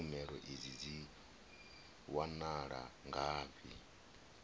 tshumelo idzi dzi wanala ngafhi